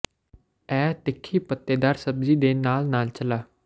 ਇਹ ਤਿੱਖੀ ਪੱਤੇਦਾਰ ਸਬਜ਼ੀ ਦੇ ਨਾਲ ਨਾਲ ਨਾਲ ਚਲਾ